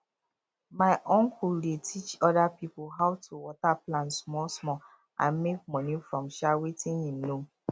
my uncle dey teach oda pipo how to water plants small small and make money from um wetin him know